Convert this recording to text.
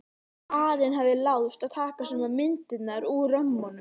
Karen hafði láðst að taka sumar myndirnar úr römmunum.